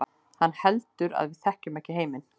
Hann heldur að við þekkjum ekki heiminn.